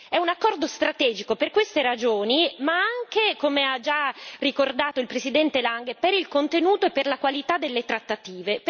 È un accordo strategico per queste ragioni ma anche come ha già ricordato il presidente Lange per il contenuto e per la qualità delle trattative.